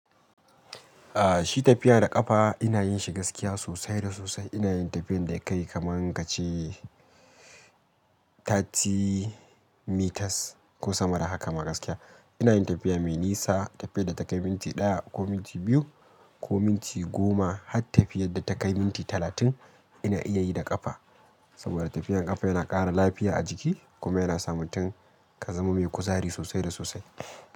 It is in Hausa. Ah, shi tafiya da ƙafa ina yin shi gaskiya sosai da sosai. Ina yin tafiyan da akai kaman kace thirty, meters ko sama da haka ma gaskiya. Ina yin tafiya mai nisa, tafiyar da takai minti ɗaya ko minti biyu ko minti goma har tafiyar da ta kai minti talatin ina iya yi da ƙafa. Saboda tafiyar ƙafa yana ƙara lafiya a jiki kuma yana sa mutum ka zama mai kuzari sosai da sosai.